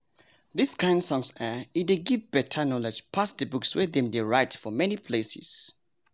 this kain songs[um]e dey give better knowledge pass the books wey dem dey write for many places.